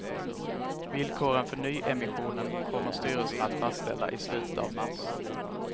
Villkoren för nyemissionen kommer styrelsen att fastställa i slutet av mars.